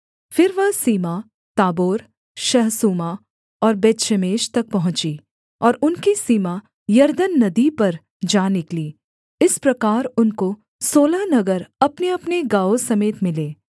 फिर वह सीमा ताबोर शहसूमा और बेतशेमेश तक पहुँची और उनकी सीमा यरदन नदी पर जा निकली इस प्रकार उनको सोलह नगर अपनेअपने गाँवों समेत मिले